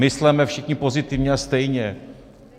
Mysleme všichni pozitivně a stejně...